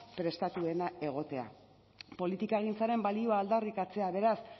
prestatuen egotea politikagintzaren balioa aldarrikatzea beraz